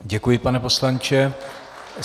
Děkuji, pane poslanče.